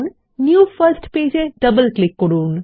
new first page এ double click করুন